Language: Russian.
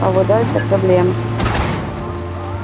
а вот дальше проблема